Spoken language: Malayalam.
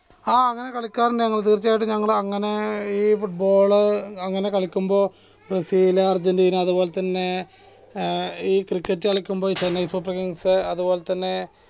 ആ അങ്ങനെ കളിക്കാറുണ്ട് തീർച്ചയായിട്ടും ഞങ്ങൾ അങ്ങനെ ഈ football ഏർ കളിക്കുമ്പോൾ ബ്രസീല് അർജൻറീന അതുപോലെതന്നെ ഏർ ഈ cricket കളിക്കുമ്പോൾ തന്നെ ചെന്നൈ സൂപ്പർ കിങ്‌സ് അതുപോലെ തന്നെ